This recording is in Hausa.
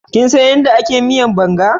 Kinsan yadda aka miyan Banga?